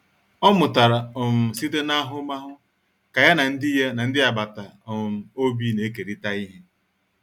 Ọ mụtara um site n'ahụmahụ ka ya na ndị ya na ndị agbata um obi na-ekerịta ihe.